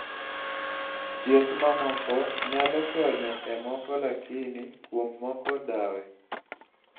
chieth mamoko nyalo konyo e moko lakini kuom moko dawe